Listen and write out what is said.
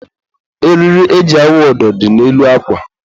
eriri e ji awụ ụdọ dị n'elu akwa.